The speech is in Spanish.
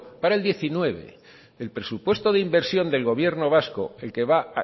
para el dos mil diecinueve el presupuesto de inversión del gobierno vasco el que va